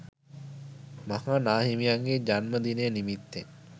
මහා නා හිමියන්ගේ ජන්ම දිනය නිමිත්තෙන්